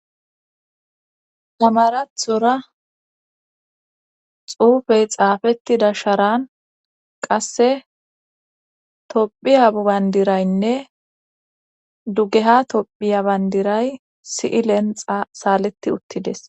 tamarathora xuufey xaafettida sharan qasse tophiya bbandiraynne dugeha tophiya bandiray si7ilenxa saaleti uttides